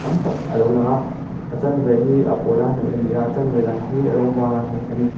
tam tak a lo lang a a chanve hi a pawl a hnawih a ni a a chanve dang hi rawng vara hnawih a ni.